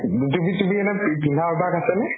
ধুতি পিন্ধা এনেই পিন্ধা অভ্য়স আছেনে?